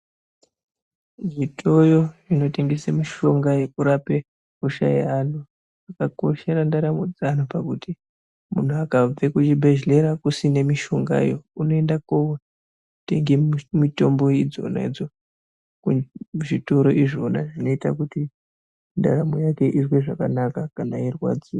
Zvitoyo inotengese mishonga yekurape hosha yeanhu, yakakoshera ndaramo dzeanhu pakuti munhu akabve kuchibhedhleya kusine mishongayo ,unoenda kotenge mitombo idzona idzo kuzvitoro izvona ,zvinoita kuti ndaramo yake izwe zvakanaka kana eirwadziwa.